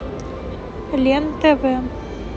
лен тв